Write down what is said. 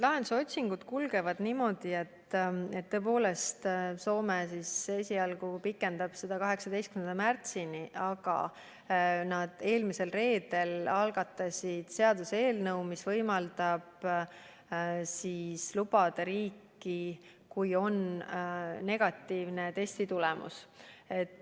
Lahenduse otsingud kulgevad niimoodi, et tõepoolest Soome esialgu pikendab seda korda 18. märtsini, aga nad eelmisel reedel algatasid seaduseelnõu, mis võimaldab lubada inimesed riiki, kui on negatiivne testi tulemus.